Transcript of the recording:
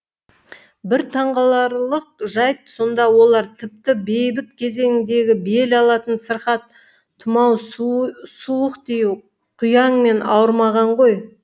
бір таңғаларлық жайт сонда олар тіпті бейбіт кезеңдегі бел алатын сырқат тұмау суық тию құяңмен ауырмаған ғой